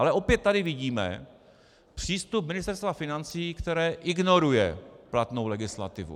Ale opět tady vidíme přístup Ministerstva financí, které ignoruje platnou legislativu.